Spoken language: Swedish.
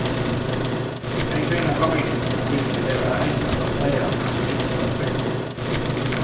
En kvinna kom in, om vilken det är enklast att säga att hon inte var respektabel.